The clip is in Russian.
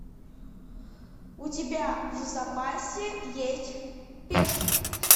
у тебя в запасе есть пешка